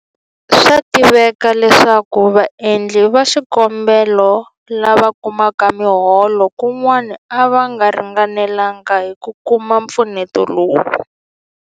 Swa tiveka leswaku vaendli va xikombelo lava kumaka miholo kun'wana a va ringanelanga hi ku kuma mpfuneto lowu.